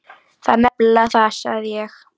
Það er nefnilega það, sagði ég.